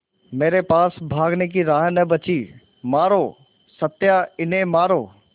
मेरे पास भागने की राह न बची मारो सत्या उन्हें मारो